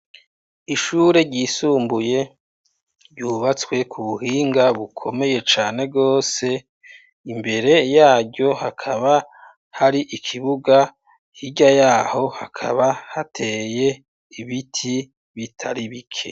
Ishure ryisumbuye ryubatswe ku buhinga bukomeye cane rwose, imbere yaryo hakaba hari ikibuga, hirya yaho hakaba hateye ibiti bitari bike.